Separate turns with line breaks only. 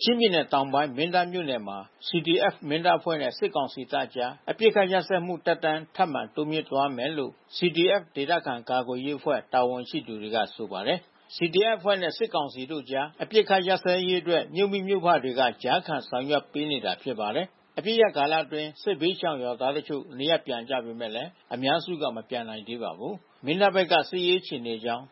ချင်းပြည်နယ်တောင်ပိုင်း မင်းတပ်မြို့နယ်မှာ CDF-Mindat အဖွဲ့နဲ့ စစ်ကောင်စီတပ်တို့ကြား အပစ်အခတ်ရပ်စဲမှု သက်တမ်း ထပ်မံတိုးမြှင့်သွားမယ်လို့ CDF ဒေသခံကာကွယ်ရေးအဖွဲ့ တာဝန်ရှိသူတွေက ဆိုပါတယ်။ CDF အဖွဲ့နဲ့ စစ်ကောင်စီတို့ကြား အပစ်အခတ် ရပ်စဲရေးအတွက် မြို့မိမြို့ဖတွေက ကြားခံဆောင်ရွက်ပေးနေတာ ဖြစ်ပါတယ်။ အပစ်ရပ်ကာလအတွင်း စစ်ဘေးရှောင်ရွာသားတချို့ နေရပ်ပြန်ကြပေမယ့် အများစုက မပြန်နိုင်သေးပါဘူး။ မင်းတပ်ဘက်က စစ်ရေးအခြေအနေအကြောင်း